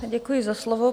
Děkuji za slovo.